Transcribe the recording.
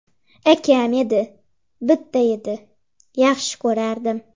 Akam edi, bitta edi… Yaxshi ko‘rardim.